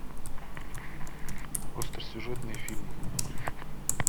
остросюжетные фильмы